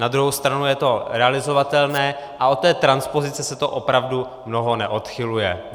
Na druhou stranu je to realizovatelné a od té transpozice se to opravdu mnoho neodchyluje.